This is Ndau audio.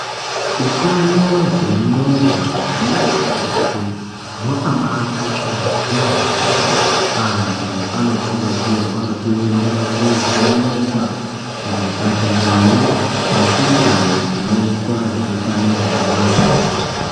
Utano wenxondo wemunhu weshe wakabaakosha yaambo antu anokurudzirwa kuenda kuvhenekwa kuzvipatarayo nekundau dzinoitwa zvehutano wenxondo.